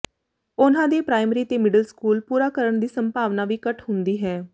ਉਨ੍ਹਾਂ ਦੇ ਪ੍ਰਾਇਮਰੀ ਤੇ ਮਿਡਲ ਸਕੂਲ ਪੂਰਾ ਕਰਨ ਦੀ ਸੰਭਾਵਨਾ ਵੀ ਘੱਟ ਹੁੰਦੀ ਹੈ